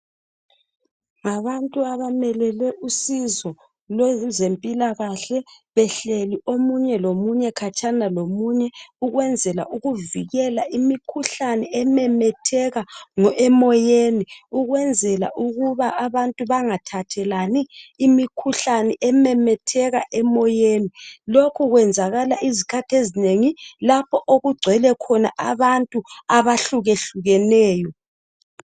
Ngabantu abamelele usizo lwezempilakahle behleli omunye lomunye khatshana lomunye ukwenzakala ukuvikela imikhuhlane ememetheka emoyeni ukwenzela ukuba abantu bengathathelani imikhuhlane ememetheka emoyeni, lokhu kwenzakala izikhathi ezinengi lapho okugcwele khona abantu abahluka hlukeneyo.